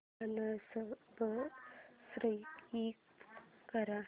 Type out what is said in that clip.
unsubscribe कर